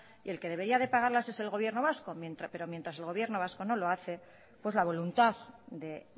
y el que debería de pagarlas es el gobierno vasco pero mientras el gobierno vasco no lo hace pues la voluntad de